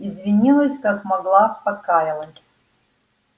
извинилась как могла покаялась